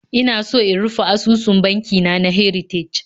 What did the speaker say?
Ina so in rufe asusun banki na na Heritage